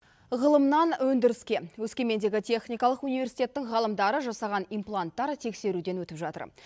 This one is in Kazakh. ғылымнан өндіріске өскемендегі техникалық университеттің ғалымдары жасаған импланттар тексеруден өтіп жатыр